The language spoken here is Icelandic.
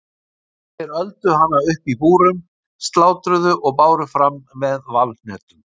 Þeir öldu hana upp í búrum, slátruðu og báru fram með valhnetum.